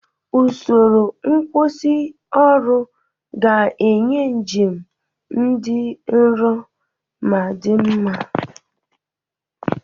Usoro nkwusioru ga-enye njem dị nro ma dị mma.